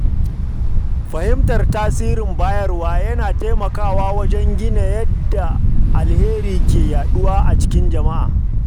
Fahimtar tasirin bayarwa yana taimakawa wajen ganin yadda alheri ke yaduwa cikin jama’a.